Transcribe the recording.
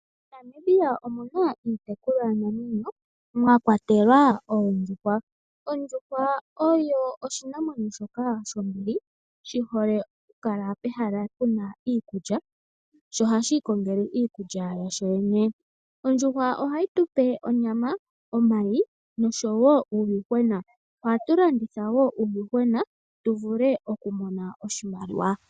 MoNamibia omu na iitekulwanamwenyo mwa kwatelwa oondjuhwa. Ondjuhwa oyo oshinamwenyo shoka shombili shi hole okukala pehala pu na iikulya sho ohashi ikongele iikulya yasho kuyo yene. Ondjuhwa ohayi tu pe onyama, omayi nosho wo uuyuhwena. Ohatu landitha wo uuyuhwena tu vule okumona oshimaliwa.